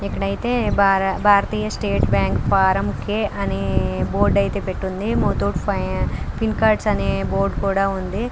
ఇక్కడ అయితే Bharatiya State Bank Poranki అనే బోర్డు అయితే పెట్టింది. ముత్తూట్ ఫిన్ కార్డ్స్ అని బోర్డు కూడా ఉంది.